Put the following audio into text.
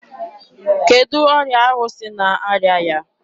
Kedụ ọrịa ahụ sị na-arịa ya?